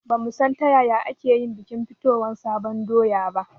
Ba mu san ta yaya ake bikin fitowan sabon doya ba